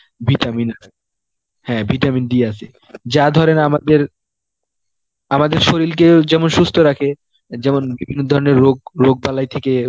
vitamin হ্যাঁ vitamin D আসে, যা ধরেন আমাদের, আমাদের শরীলকেও যেমন সুস্থ রাখে যেমন বিভিন্ন ধরনের রোগ রোগ বালাই থেকে